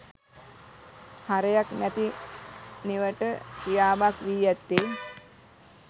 හරයක් නැති නිවට ක්‍රියාවක් වී ඇත්තේ